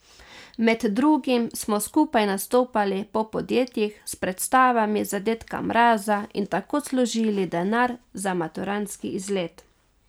Med drugim smo skupaj nastopali po podjetjih s predstavami za dedka Mraza in tako služili denar za maturantski izlet.